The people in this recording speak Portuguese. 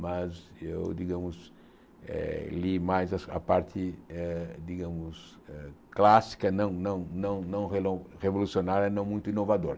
Mas eu, digamos, eh li mais a parte, eh digamos, eh clássica, não não não não relon revolucionária, não muito inovador.